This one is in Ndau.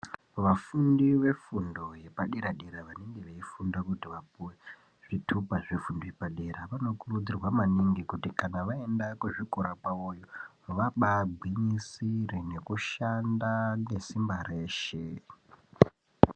Vafundi vefundo yepadera dera vanenge veifunda kuti vapuwe zvitupa zvefundo yepadera vanokurudzirwa maningi kuti kana vaenda kuzvikora kwavoyo vabaa gwinyisire nekushanda ngesimba reshe.